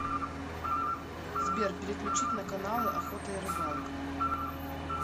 сбер переключить на каналы охота и рыбалка